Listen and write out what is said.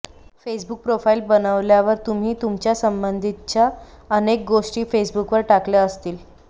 Facebook profile बनवल्यावर तुम्ही तुमच्यासंबंधितच्या अनेक गोष्टी फेसबुकवर टाकल्या असतील